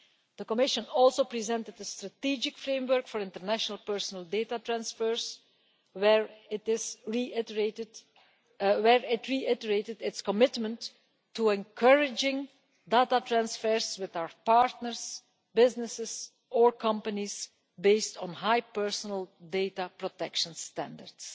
The Commission also presented a strategic framework for international personal data transfers where it reiterated its commitment to encouraging data transfers with our partners, businesses or companies based on high personal data protection standards.